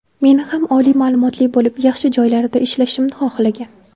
Meni ham oliy ma’lumotli bo‘lib, yaxshi joylarda ishlashimni xohlagan.